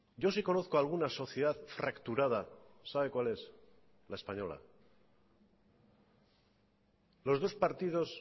yo sí conozco alguna sociedad fracturada sabe cuál es la española los dos partidos